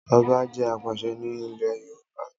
Ọba jẹ́ apàṣẹ ni ile Yoruba